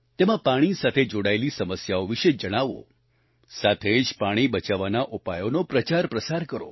તેમાં પાણી સાથે જોડાયેલી સમસ્યાઓ વિશે જણાવો સાથે જ પાણી બચાવવાના ઉપાયોનો પ્રચારપ્રસાર કરો